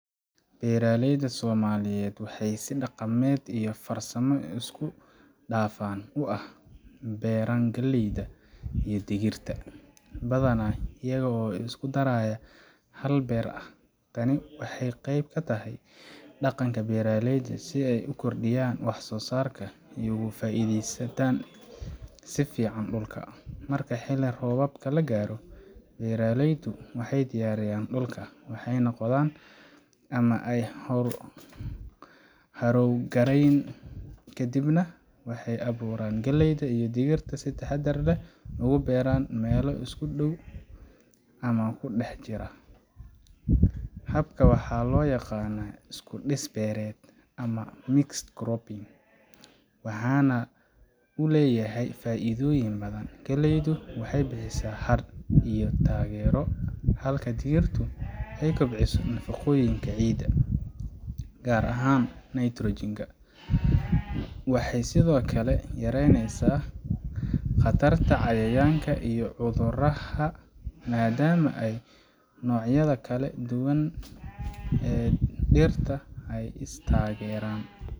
Beeraleyda Soomaaliyeed waxay si dhaqameed iyo farsamo isku dhafan ah u beeraan galleyda iyo digirta, badanaa iyaga oo isku daraya hal beer ah. Tani waxay qayb ka tahay dhaqanka beeraleyda si ay u kordhiyaan wax soo saarka iyo uga faa’iidaystaan si fiican dhulka. Marka xilli roobaadka la gaaro, beeraleydu waxay diyaariyaan dhulka, waxay qodaan ama ay harrowga gareyan, kadibna waxay abuurka galleyda iyo digirta si taxaddar leh ugu beeraan meelo isku dhow ama ku dhex jira. Habkan waxaa loo yaqaanaa iskudhis beereed ama mixed cropping, waxaana uu leeyahay faa’iidooyin badan. Galleydu waxay bixisaa hadh iyo taageero, halka digirtu ay kobciso nafaqooyinka ciidda, gaar ahaan nitrogen ka. Waxay sidoo kale yareynesaa khatarta cayayaanka iyo cudurrada, maadaama noocyada kala duwan ee dhirta ay is taageeraan.